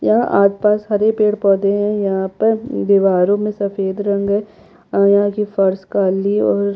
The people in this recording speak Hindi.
यह आसपास हरे पेड़-पौधे है यहाँ पर दिवारो मे सफ़ेद रंग है और फर्श काली है और--